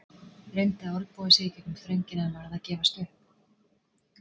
Reyndi að olnboga sig í gegnum þröngina en varð að gefast upp.